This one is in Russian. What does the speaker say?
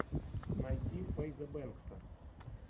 найти фэйза бэнкса